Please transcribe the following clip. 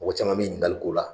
Mɔgɔ caman bɛ ɲininkali k'o la